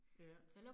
Ja